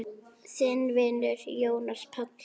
Þinn vinur, Jónas Páll.